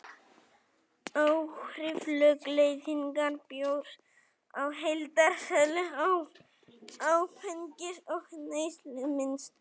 Áhrif lögleiðingar bjórs á heildarsölu áfengis og neyslumynstur